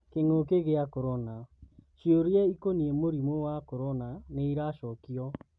kĩng'ũki gĩa Korona: Cioria ikoniĩ mũrimũ wa Korona nĩiracokio.